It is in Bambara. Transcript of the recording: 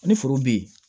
Ni foro bɛ yen